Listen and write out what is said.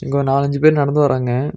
ஒரு நாலஞ்சு பேர் நடந்து வராங்க.